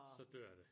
Så dør det